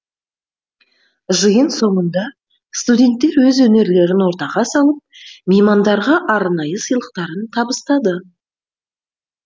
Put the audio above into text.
жиын соңында студенттер өз өнерлерін ортаға салып меймандарға арнайы сыйлықтарын табыстады